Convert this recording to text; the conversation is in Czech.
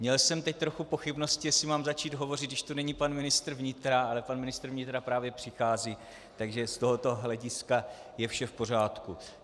Měl jsem teď trochu pochybnosti, jestli mám začít hovořit, když tu není pan ministr vnitra, ale pan ministr vnitra právě přichází, takže z tohoto hlediska je vše v pořádku.